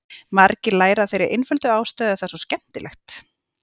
Margir læra af þeirri einföldu ástæðu að það er svo skemmtilegt!